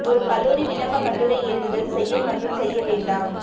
ஒரு கல்லூரி விண்ணப்ப கட்டுரை எழுதுதல் செய்ய மற்றும் செய்ய வேண்டாம்